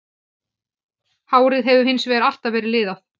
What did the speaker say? Hárið hefur hins vegar alltaf verið liðað.